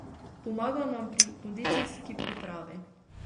Pomaga nam pri kondicijski pripravi.